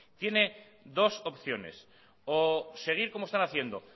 tiene dos opciones o seguir como están haciendo